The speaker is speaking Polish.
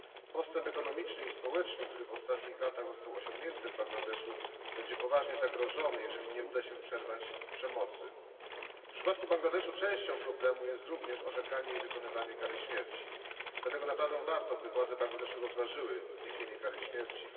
Postęp gospodarczy i społeczny, który w ostatnich latach został osiągnięty w Bangladeszu, będzie poważnie zagrożony, jeżeli nie uda się przerwać przemocy. W przypadku Bangladeszu częścią problemu jest również orzekanie i wykonywanie kary śmierci, dlatego naprawdę warto, by władze Bangladeszu rozważyły zniesienie kary śmierci.